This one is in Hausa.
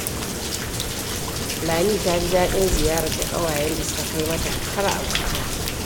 Lami ta ji daɗin ziyarar da ƙawayenta suka kai mata har Abuja